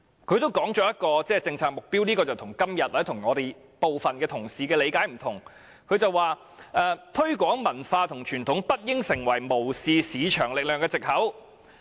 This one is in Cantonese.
然而，該份文件同時提出另一些原則，與今天或部分同事的理解不同："推廣文化和傳統不應成為無視市場力量的藉口。